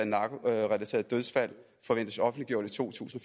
narkorelaterede dødsfald forventes offentliggjort i to tusind